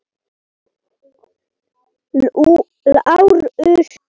LÁRUS: Kom inn!